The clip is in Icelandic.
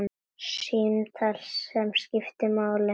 Símtal sem skiptir máli